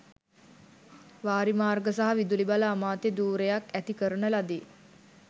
වාරිමාර්ග සහ විදුලි බල අමාත්‍ය ධුරයක් ඇති කරන ලදී